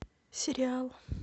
сериал